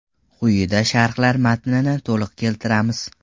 Quyida sharhlar matnini to‘liq keltiramiz.